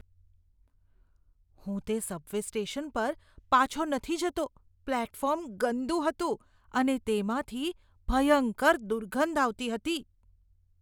હું તે subway station પર પાછો નથી જતો. પ્લેટફોર્મ ગંદુ હતું અને તેમાંથી ભયંકર દુર્ગંધ આવતી હતી.